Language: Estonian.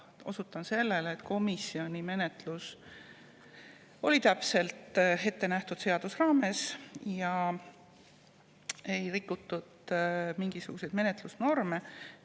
Osutan sellele, et komisjonis toimus menetlus seaduses ettenähtud raames ja mingisuguseid menetlusnorme ei rikutud.